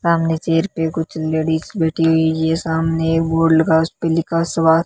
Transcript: सामने चेयर पे कुछ लेडिस बैठी हुई ये सामने एक बोर्ड लगा हुआ उसपे लिखा स्वा--